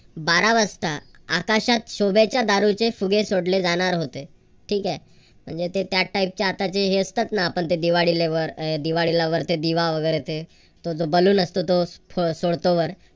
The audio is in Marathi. बारा वाजता आकाशात शोभेच्या दारूचे फुगे सोडले जाणार होते. ठीक हाय. म्हणजे ते त्या type चे आताचे फुगे असतात ना. दिवाळिले वर अह ते दिवा वगैरे ते तो बलून असतो तो सोडतो वर